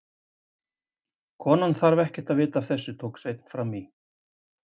Konan þarf ekkert að vita af þessu, tók Sveinn fram í.